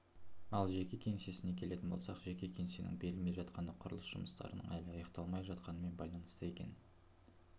ал жеке кеңсесіне келетін болсақ жеке кеңсенің берілмей жатқаны құрылыс жұмыстарының әлі аяқталмай жатқанымен байланысты екен